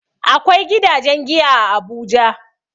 Akwai gidajen giya a Abuja.